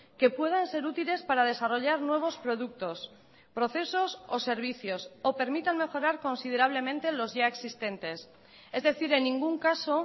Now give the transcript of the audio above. que puedan ser útiles para desarrollar nuevos productos procesos o servicios o permitan mejorar considerablemente los ya existentes es decir en ningún caso